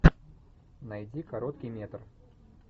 найди короткий метр